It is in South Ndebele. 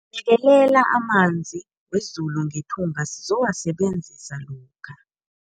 Bekelela amanzi wezulu ngethunga sizowasebenzisa lokha.